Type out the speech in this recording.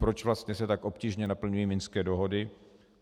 Proč vlastně se tak obtížně naplňují minské dohody?